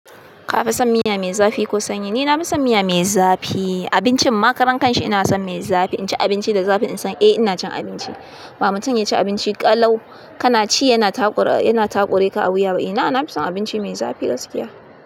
Ka fi son miya mai zafi ko sanyi? Ni na fi son miya mai zafi. Abincin ma karan kanshi ina son mai zafi. In ci abinci da zafi, in san eh ina cin abinci. Ba mutum ya ci abinci ƙalau, kana ci yana taƙura ka a wuya ba. Ina, na fi son abinci mai zafi gaskiya.